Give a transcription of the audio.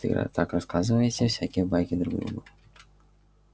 так рассказываете всякие байки друг другу